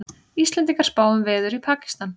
Íslendingar spá um veður í Pakistan